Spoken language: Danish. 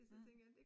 Mhm